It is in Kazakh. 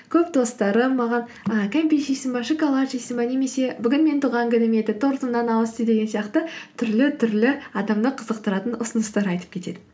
көп достарым маған ы кәмпит жейсің бе шоколад жейсің бе немесе бүгін менің туған күнім еді тортымнан ауыз ти деген сияқты түрлі түрлі адамды қызықтыратын ұсыныстар айтып кетеді